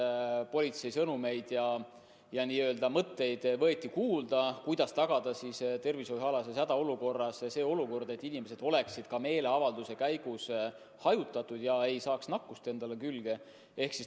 Võeti kuulda politsei sõnumeid ja soovitusi, kuidas tagada tervishoiualases hädaolukorras olukord, kus inimesed oleksid meeleavalduse käigus hajutatud ega saaks nakkust külge.